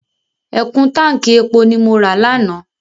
Ẹ̀kún táǹkì epo ni mo ra lánàá.